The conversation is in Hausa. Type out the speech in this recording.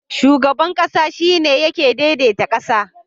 Shugaban ƙasa shine yake dai dai ta ƙasa